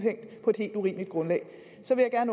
på et helt urimeligt grundlag så vil jeg